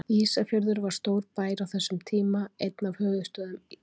Ísafjörður var stór bær á þessum tíma, einn af höfuðstöðvum landsins.